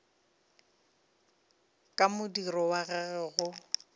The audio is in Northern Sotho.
ka modiro wa gagwe go